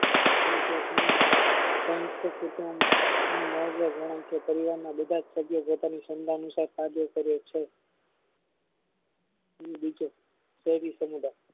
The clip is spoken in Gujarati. ની મુહાવરો ગણાય છે પરિવારના બધા સભ્યો પોતાનું સન્દન અનુસાર પોતાનું કામ કરે છે કોઈ સમુદાય